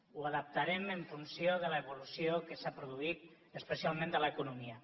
ho adaptarem en funció de l’evolució que s’ha produït especialment de l’economia